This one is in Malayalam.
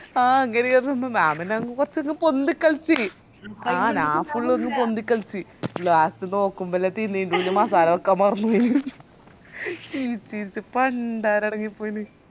ആ അങ്ങനെയാന്ന് ഞാൻ പിന്നെ അങ് കോർച്ചങ് പൊന്തിക്കളിച് ആ ഞാൻ full അങ് പൊന്തിക്കളിച് last നോക്കുമ്പല്ലേ തിരിഞ്ഞെ ഇതിന് മസാല വെക്കാൻ മറന്നൊയിന്ന് ചിരിച് ചിരിച് പണ്ടാരടങ്ങി പോയിന്